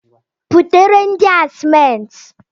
Butere ndị a simenti!